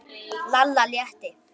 Lalla létti.